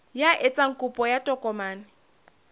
ya etsang kopo ya tokomane